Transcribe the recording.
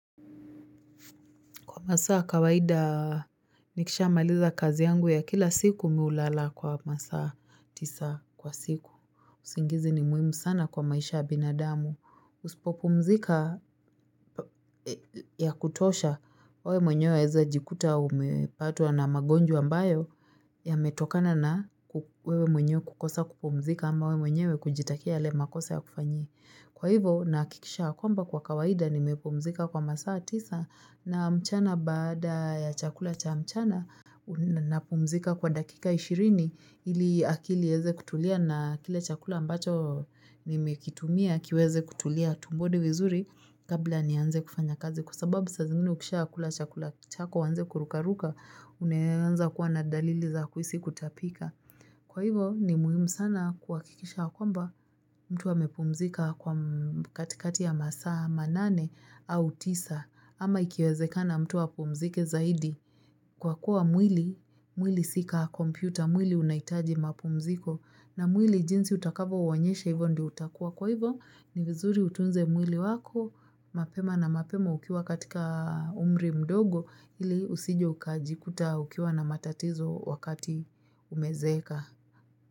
Kwa masaa kawaida nikisha maliza kazi yangu ya kila siku mi hulala kwa masaa tisa kwa siku. Usingizi ni muhimu sana kwa maisha ya binadamu. Usipopumzika ya kutosha, we mwenyew waeza jikuta umepatwa na magonjwa ambayo yametokana na wewe mwenyewe kukosa kupumzika ama we mwenyewe kujitakia yale makosa yakufanye Kwa hivo nahakikisha ya kwamba kwa kawaida nimepumzika kwa masaa tisa na mchana baada ya chakula cha mchana napumzika kwa dakika ishirini ili akili ieze kutulia na kile chakula ambacho nimekitumia kiweze kutulia tumboni vizuri kabla nianze kufanya kazi kwa sababu saa zingine ukisha kula chakula chako uanze kurukaruka unaanza kuwa na dalili za kuhisi kutapika. Kwa hivo ni muhimu sana kuhakikisha kwamba mtu amepumzika kwa katikati ya masaa manane au tisa ama ikiwezekana mtu apumzike zaidi kwa kuwa mwili, mwili si ka kompyuta, mwili unahitaji mapumziko na mwili jinsi utakavo uonyesha hivo ndio utakua. Kwa hivo ni vizuri utunze mwili wako mapema na mapema ukiwa katika umri mdogo ili usije ukajikuta ukiwa na matatizo wakati umezeeka.